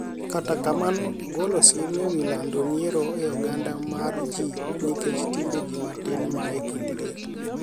Kata kamano ogolo siem e wi lando miero e oganda mar ji nikech timbe ji matin ma e kindgi.